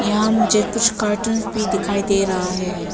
यहां मुझे कुछ कार्टून भी दिखाई दे रहा है।